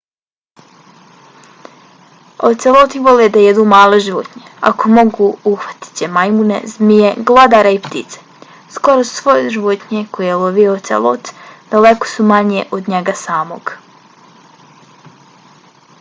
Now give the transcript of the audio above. oceloti vole da jedu male životinje. ako mogu uhvatit će majmune zmije glodare i ptice. skoro sve životinje koje lovi ocelot daleko su manje od njega samog